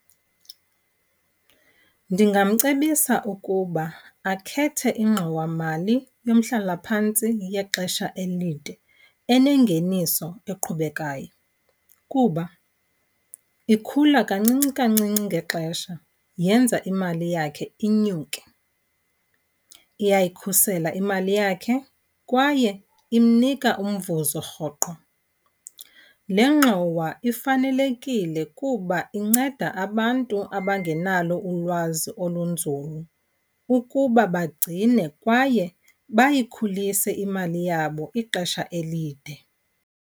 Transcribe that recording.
Ndingamcebisa ukuba akhethe ingxowamali yomhlalaphantsi yexesha elide enengeniso eqhubekayo kuba ikhula kancinci kancinci ngexesha yenza imali yakhe inyuke. Iyayikhusela imali yakhe kwaye imnika umvuzo rhoqo. Le ngxowa ifanelekile kuba inceda abantu abangenalo ulwazi olunzulu ukuba bagcine kwaye bayikhulise imali yabo ixesha elide.